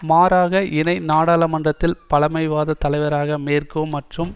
மாறாக இனை நாடாளுமன்றத்தில் பழமைவாத தலைவராக மேர்கே மற்றும்